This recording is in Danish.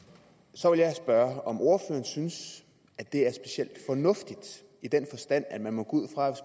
så vil jeg spørge om ordføreren synes at det er specielt fornuftigt i den forstand at man må gå ud fra